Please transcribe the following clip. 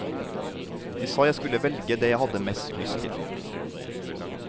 De sa jeg skulle velge det jeg hadde mest lyst til.